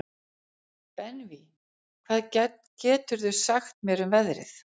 Benvý, hvað geturðu sagt mér um veðrið?